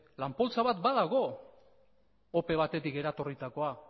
lan poltsa bat badago ope batetik eratorritakoa